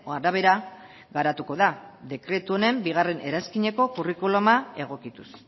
arabera garatuko da dekretu honen bigarren eranskineko kurrikuluma egokituz